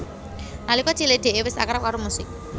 Nalika cilik Dee wis akrab karo musik